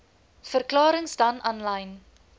verklarings dan aanlyn